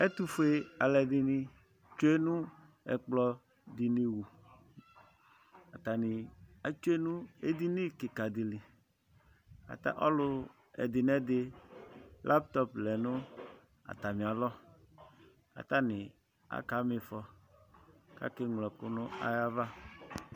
ɛtufue aluɛdini tsue nu ɛkplɔditu atani etsue nu edini kika di li ɔlu ɔlu ɛdi nɛdi laytɔpi lɛ nu atamialɔ nu ɛkplɔava katani aka mi ifɔ kake ɣlo ɛku nayava